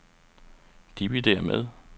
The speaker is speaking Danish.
dividér med